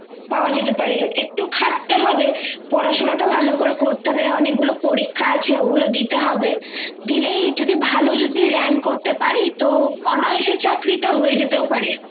পাওয়া যেতে পারে একটু খাটতে হবে পড়াশোনা টা ভালো করে করতে হবে অনেকগুলো পরীক্ষা আছে ওগুলো দিতে হবে দিলেই যদি ভালো যদি rank করতে পারি তো অনায়াসে চাকরিটা হয়ে যেতেও পারে